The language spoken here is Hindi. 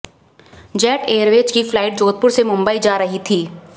जेट एयरवेज की फ्लाइट जोधपुर से मुंबई जा रही थी